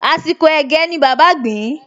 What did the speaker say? Àsìkò ẹ̀gẹ́ ni bàbá gbìn-ín